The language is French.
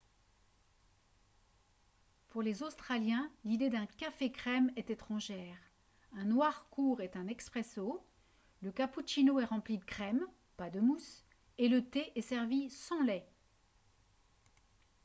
pour les australiens l'idée d'un « café crème » est étrangère. un noir court est un « espresso » le cappuccino est rempli de crème pas de mousse et le thé est servi sans lait